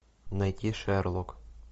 найти шерлок